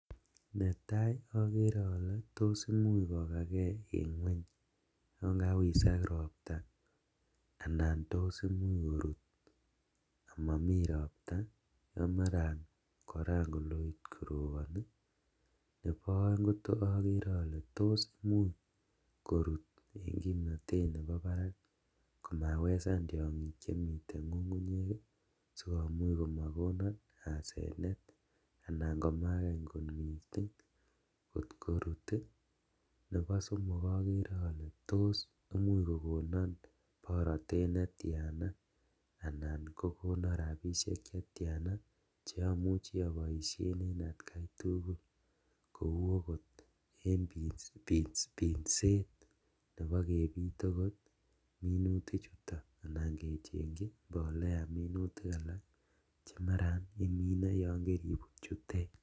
Netaa okeree olee toos imuch kokakee en ngweny yoon kawisak robtaa anan toos imuch koruut komomii robtaa ako maran koran koloiit koroboni, neboo oeng okeree olee toos imuuch koruut en kimnotet neboo barak komawesan tiong'ik chemiten ng'ung'unyek sikomuch komokonon asenet anan ko makany kot mising kot korut, neboo somok okeree olee toos imuch kokonon borotet netiana anan ko kokonon rabishek chetiana cheomuche oboishen en atkai tukul kouu okot en binseet neboo kebiit okot minuti chuton anan kechengyii mbolea minutik alak chemaran iminee yoon keibut chutet.